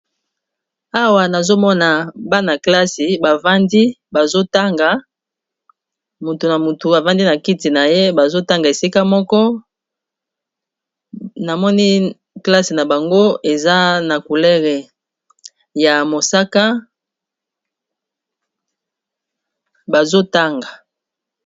Awa nazomona bana klase bavandi bazotanga motu na motu avandi na kiti na ye bazotanga esika moko, namoni klasse na bango eza na coulere ya mosaka bazotanga.